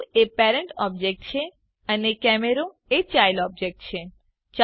cube એ parent object છે અને કેમેરો એ ચાઈલ્ડ ઓબજેક્ટ છે